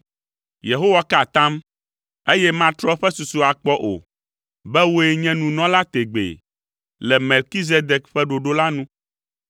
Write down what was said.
Yehowa ka atam, eye matrɔ eƒe susu akpɔ o, be “Wòe nye nunɔla tegbee, le Melkizedek ƒe ɖoɖo la nu.”